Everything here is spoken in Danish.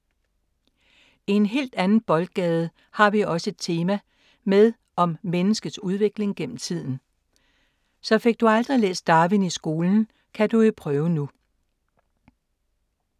I en helt anden boldgade har vi også et tema med om menneskets udvikling gennem tiden. Så fik du aldrig læst Darwin i skolen, kan du jo prøve nu.